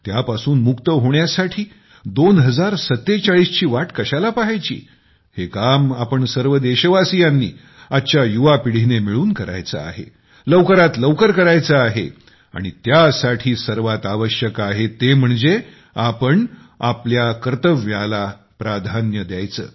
त्यापासून मुक्त होण्यासाठी 2047 ची वाटकशाला पहायची हे काम आपण सर्व देशवासियांनी आजच्या युवा पिढीने मिळून करायचे आहे लवकरात लवकर करायचे आहे आणि त्यासाठी सर्वात आवश्यक आहे ते म्हणजे आपण आपल्या कर्तव्याला प्राधान्य द्यायचे